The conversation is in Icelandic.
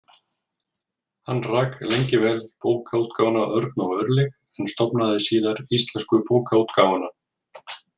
Hann rak lengi vel Bókaútgáfuna Örn og Örlyg, en stofnaði síðar Íslensku bókaútgáfuna.